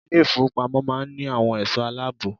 Ilé ìfowópamọ́ máa ń ní àwọn ẹ̀sọ́ aláàbò.